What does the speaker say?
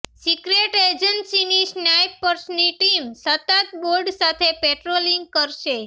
secret એજન્સીની સ્નાઈપર્સની team સતત બોટ સાથે પેટ્રોલિંગ કરશે